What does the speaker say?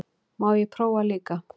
Má ég prófa líka!